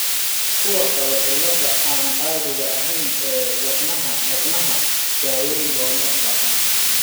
Kuwa qaba cilladaha aan caadiga ahayn ee wadnaha wadnaha, daaweyn looma baahna.